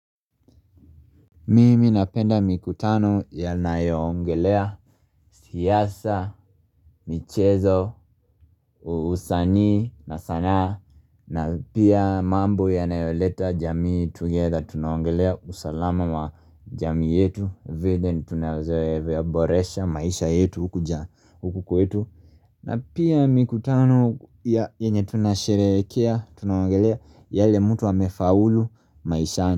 Mimi napenda mikutano inayo ongelea siasa, michezo, usanii, na sanaa, na pia mambo yanayoleta jamii together, tunaongelea usalama wa jamii yetu, vile tunaweza boresha, maisha yetu hukuja, huku kuetu, na pia mikutano yenye tunasherehekea, tunaongelea yale mtu amefaulu maisha.